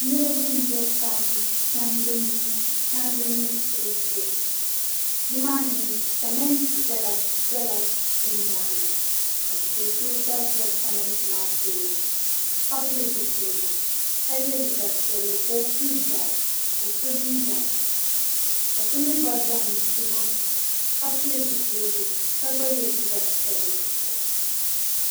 niriba m-be tandi migisibu shee ni maani mi simiinti dɔla bɛ nyaaŋga ka do' so gba za simiinti maa tooni ka pili zipiligu ka ye liiga piɛlli ka o puli bara ka o so jinjam ka so mi gba za n-tu o ka pili zipiligu ka gba ye liiga piɛlli